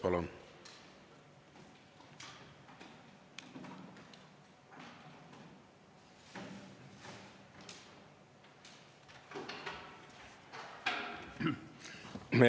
Palun!